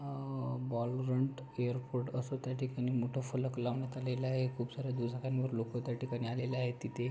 आ बॉलरंट एयरपोर्ट अस त्या ठिकाणी मोठ फलक लावण्यात आलेल आहे खूप साऱ्या दुचाक्यांवर लोक त्या ठिकाणी आलेले आहेत तिथे --